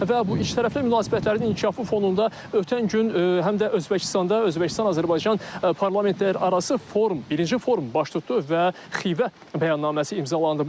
Və bu ikitərəfli münasibətlərin inkişafı fonunda ötən gün həm də Özbəkistanda Özbəkistan-Azərbaycan parlamentlərarası forum, birinci forum baş tutdu və Xivə bəyannaməsi imzalandı.